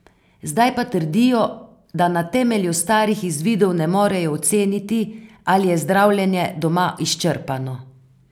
Zdaj pa trdijo, da na temelju starih izvidov ne morejo oceniti, ali je zdravljenje doma izčrpano.